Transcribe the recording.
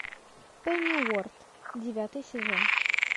пенниуорт девятый сезон